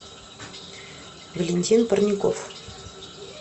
валентин парников